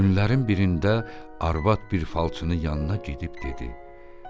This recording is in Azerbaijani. Günlərin birində arvad bir falçının yanına gedib dedi: